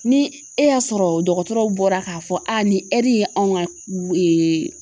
Ni e y'a sɔrɔ dɔgɔtɔrɔw bɔra k'a fɔ nin ɛri ye anw ŋa